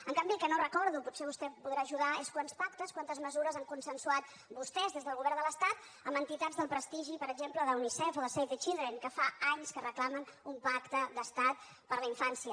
en canvi el que no recordo potser vostè em podrà ajudar és quants pactes quantes mesures han consensuat vostès des del govern de l’estat amb entitats del prestigi per exemple d’unicef o de save the children que fa anys que reclamen un pacte d’estat per la infància